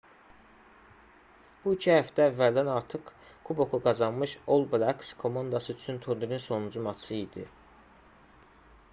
bu iki həftə əvvəldən artıq kuboku qazanmış all blacks komandası üçün turnirin sonuncu matçı idi